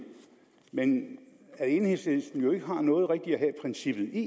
men at enhedslisten jo ikke rigtig har noget at have princippet i